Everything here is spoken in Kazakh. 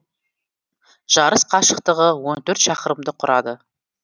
жарыс қашықтығы он төрт шақырымды құрады